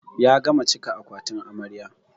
Ya gama cika akwatin amarya.